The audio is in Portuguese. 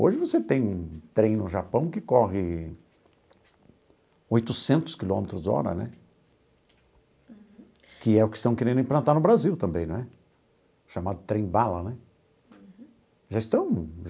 Hoje você tem um trem no Japão que corre oitocentos quilômetros por hora né, que é o que estão querendo implantar no Brasil também, não é? Chamado trem bala né já estão.